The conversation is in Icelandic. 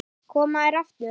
Koma þær aftur?